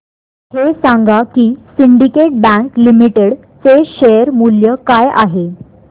हे सांगा की सिंडीकेट बँक लिमिटेड चे शेअर मूल्य काय आहे